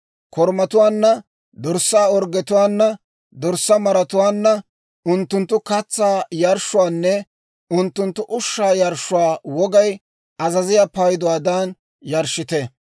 Korumatuwaanna, dorssaa orggetuwaananne dorssaa maratuwaanna unttunttu katsaa yarshshuwaanne unttunttu ushshaa yarshshuwaa wogay azaziyaa payduwaadan yarshshite.